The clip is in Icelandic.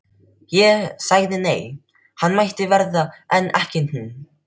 Ég sagði nei, hann mætti vera en ekki hún.